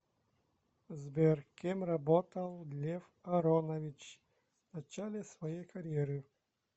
сбер кем работал лев аронович в начале своей карьеры